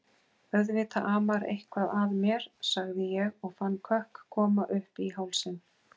Auðvitað amar eitthvað að mér, sagði ég og fann kökk koma uppí hálsinn.